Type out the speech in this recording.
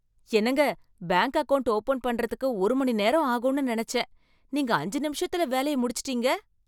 என்னங்க, bank account open பண்றதுக்கு ஒரு மணிநேரம் ஆகும்னு நினைச்சேன், நீங்க அஞ்சு நிமிஷத்துல வேலைய முடிச்சிட்டீங்க.